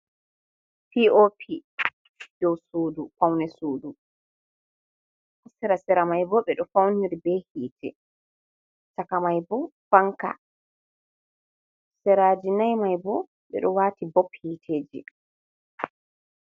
Pop do sudu paune sudu sera maibo ɓeɗo faunir be hite, cakamaibo fanka siraji maibo ɓeɗo wati bob hiteji.